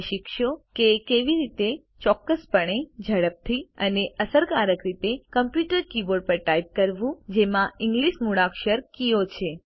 તમે શીખશો કે કેવી રીતે ચોક્કસપણે ઝડપથી અને અસરકારક રીતે કમ્પ્યુટર કીબોર્ડ પર ટાઇપ કરવું જેમાં ઇંગલિશ મૂળાક્ષર કીઓ છે